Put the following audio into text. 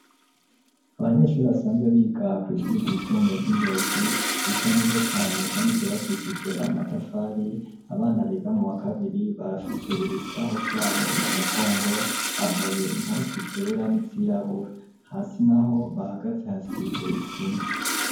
Abanyeshuri basanzwe biga kw'ishuri ryisumbuye ry'i Ngozi, risa neza cane, kandi ryubakishije amatafari, abana biga mu wa kabiri, barafise ibisaho vyabo mu mugongo, bambaye impuzu zera n'izirabura, hasi naho bahagaze hasize isima.